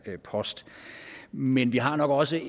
post men vi har nok også